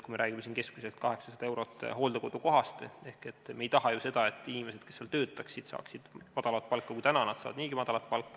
Kui me räägime hooldekodukoha hinnast keskmiselt 800 eurot, siis me ei taha ju seda, et inimesed, kes seal töötavad, saaksid väiksemat palka kui praegu, sest nad saavad niigi väikest palka.